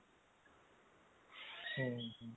ହୁଁ